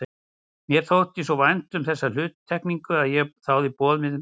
Mér þótti svo vænt um þessa hluttekningu að ég þáði boðið með þökkum.